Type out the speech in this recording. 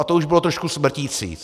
A to už bylo trošku smrtící.